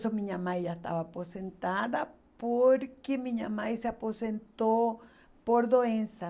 Então, minha mãe já estava aposentada porque minha mãe se aposentou por doença.